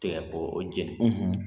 Tigɛ k'o jeni